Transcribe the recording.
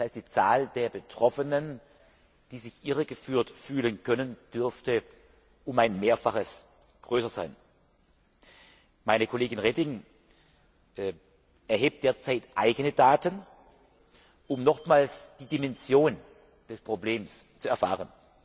Das heißt, die Zahl der Betroffenen, die sich irregeführt fühlen können, dürfte um ein Mehrfaches größer sein. Meine Kollegin Reding erhebt derzeit eigene Daten, um nochmals die Dimension des Problems zu erfahren.